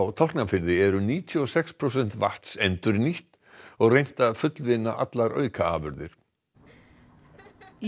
Tálknafirði eru níutíu og sex prósent vatns endurnýtt og reynt að fullvinna allar aukaafurðir í